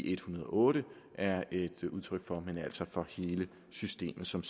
en hundrede og otte er et udtryk for men altså hele systemet som